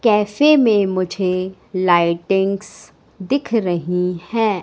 कैसे में मुझे लाइटिंग्स दिख रही है।